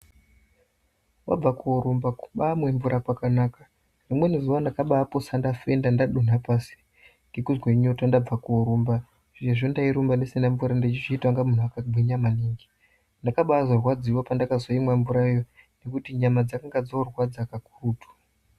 Wabva koorumba, kubaamwe mvura kwakanaka. Rimweni zuwa ndakambaapotsa ndafenda ndadonha pasi ,ngekuzwe nyota ndabve koorumba, sezvo ndairumba ndisina mvura ndeichiita inga munhu wakagwinya maningi. Ndakabaazorwadziwa pandakazoimwa mvurayo, ngekuti nyama dzakanga dzorwadza kakurutu.